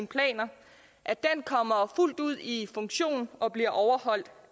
planer kommer fuldt ud i funktion og bliver overholdt